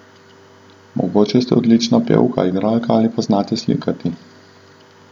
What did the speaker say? Mogoče ste odlična pevka, igralka ali znate slikati.